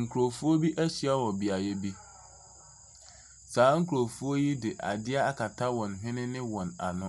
Nkurɔfoɔ bi ahyia wɔ beaeɛ bi, saa nkurɔfoɔ de adeɛ akata wɔn hwene ne wɔn ano,